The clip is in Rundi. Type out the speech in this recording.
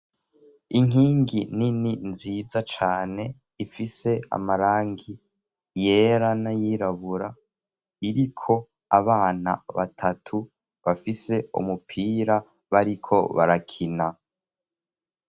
inkingi nini nziza cane ifise amarangi yera nayirabura iriko abana batatu bafise umupira bariko barakina